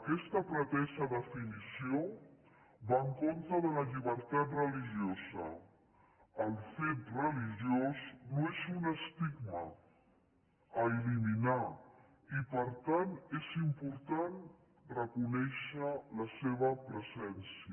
aquesta pretesa definició va en contra de la llibertat religiosa el fet religiós no és un estigma a eliminar i per tant és important reconèixer la seva presència